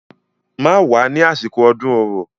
Má wá ní àsìkò ọdún Orò.